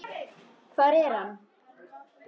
Hvar er hann?